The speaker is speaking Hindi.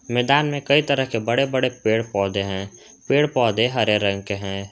मैदान में कई तरह के बड़े बड़े पेड़ पौधे हैं पेड़ पौधे हरे रंग के हैं।